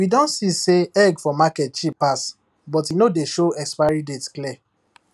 we don see say egg for market cheap pass but e no dey show expiry date clear